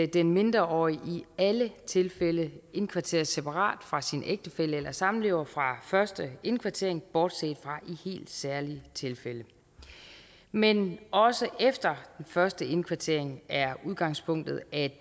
den mindreårige i alle tilfælde indkvarteres separat fra sin ægtefælle eller samlever fra første indkvartering bortset fra i helt særlige tilfælde men også efter den første indkvartering er udgangspunktet at